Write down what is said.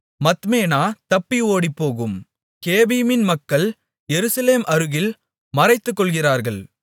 மத்மேனா தப்பி ஓடிப்போகும் கேபிமின் மக்கள் எருசலேம் அருகில் மறைத்துக்கொள்கிறார்கள்